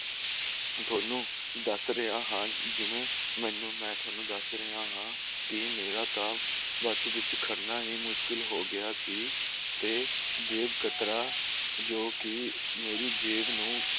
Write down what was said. ਦੋਨੋ ਦੱਸ ਰਿਹਾ ਹਾਂ ਜਿਵੇ ਮੈਂ ਥੋਨੂੰ ਦੱਸ ਰਿਹਾਂ ਹਾਂ ਕਿ ਮੇਰਾ ਤਾਂ ਬੱਸ ਵਿੱਚ ਖੜਨਾ ਹੀ ਮੁਸ਼ਕਿਲ ਹੋਗਿਆ ਸੀ ਤੇ ਕਤਰਾ ਮੇਰੀ ਜੇਬ ਨੂੰ